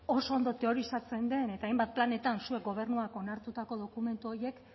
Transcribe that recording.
oso ondo teorizatzen den eta hainbat planetan zuek gobernuan onartutako dokumentu horiek